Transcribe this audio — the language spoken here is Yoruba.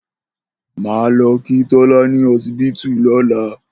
Máá lo̩ kí Tó̩lá ní o̩sibítù ló̩la